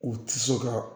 U ti se ka